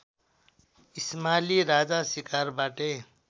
इस्माली राजा शिकारबाटै